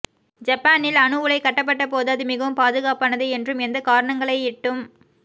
ஜப்பானில் அணு உலை கட்டப்பட்டபோது அது மிகவும் பாதுகாப்பானது என்றும் எந்தக் காரணங்களைக்யிட்டும்